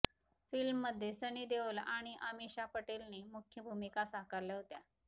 फिल्ममध्ये सनी देओल आणि अमीषा पटेलने मुख्य भूमिका साकारल्या होत्या